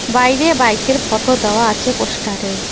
বাইরে বাইক -এর ফটো দেওয়া আছে পোস্টার -এ।